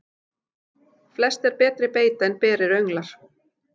Flest er betri beita en berir önglar.